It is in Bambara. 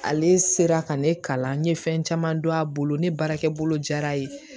Ale sera ka ne kalan n ye fɛn caman don a bolo ne baarakɛ bolo jara ye